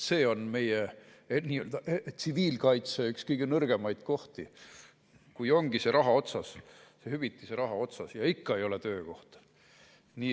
See on meie tsiviilkaitse üks kõige nõrgemaid kohti, kui ongi raha otsas, hüvitise raha on otsas ja ikka ei ole töökohta.